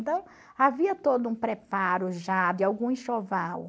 Então, havia todo um preparo já de algum enxoval.